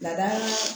Lada